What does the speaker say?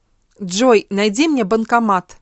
джой найди мне банкомат